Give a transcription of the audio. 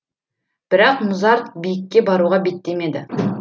бірақ мұзарт биікке баруға беттемеді